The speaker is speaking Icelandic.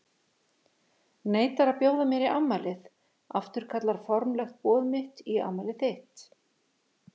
Neitar að bjóða mér í afmælið, afturkallar formlegt boð mitt í afmælið þitt.